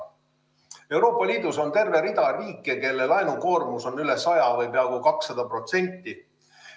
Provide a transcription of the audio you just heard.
Euroopa Liidus on terve rida riike, kelle laenukoormus on üle 100% või peaaegu 200%.